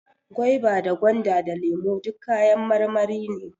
Gwaiba da gwanda, da lemo duk kayan marmari ne